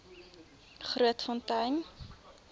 grootfontein